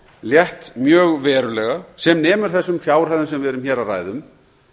létt mjög verulega sem nemur þessum fjárhæðum sem við erum hér að ræða um